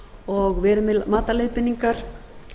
og verið með margar leiðbeiningar